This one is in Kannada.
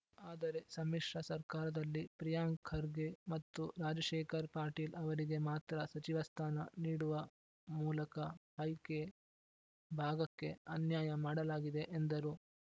ಆದರೆ ಸಮ್ಮಿಶ್ರ ಸರ್ಕಾರದಲ್ಲಿ ಪ್ರಿಯಾಂಕ್‌ ಖರ್ಗೆ ಮತ್ತು ರಾಜಶೇಖರ್‌ ಪಾಟೀಲ್‌ ಅವರಿಗೆ ಮಾತ್ರ ಸಚಿವ ಸ್ಥಾನ ನೀಡುವ ಮೂಲಕ ಹೈಕೆ ಭಾಗಕ್ಕೆ ಅನ್ಯಾಯ ಮಾಡಲಾಗಿದೆ ಎಂದರು